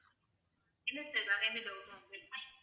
இல்ல sir வேற எந்த doubt உம் இல்ல